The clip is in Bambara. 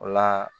O la